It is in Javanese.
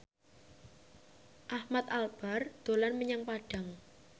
Ahmad Albar dolan menyang Padang